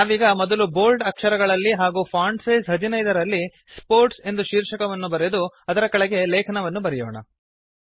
ನಾವೀಗ ಮೊದಲು ಬೋಲ್ಡ್ ಅಕ್ಷರಗಳಲ್ಲಿ ಹಾಗೂ ಫಾಂಟ್ ಸೈಜ್ 15 ರಲ್ಲಿ ಸ್ಪೋರ್ಟ್ಸ್ ಎಂದು ಶೀರ್ಷಕವನ್ನು ಬರೆದು ಅದರ ಕೆಳಗೆ ಲೇಖನವನ್ನು ಬರೆಯೋಣ